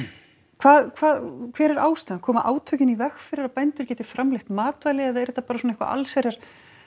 hvað hver er ástæðan koma átökin í veg fyrir að bændur geti framleitt matvæli eða er þetta bara eitthvað svona allsherjar